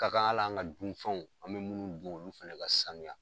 Ka kan al'an ka duminifɛnw an bɛ minnu dun olu fana ka sanuya